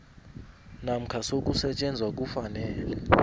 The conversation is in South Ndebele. namkha sokusetjenzwa kufanele